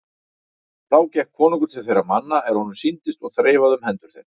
Þá gekk konungur til þeirra manna er honum sýndist og þreifaði um hendur þeim.